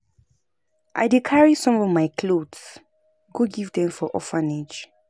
I dey carry some of my cloths go give dem for orphanage.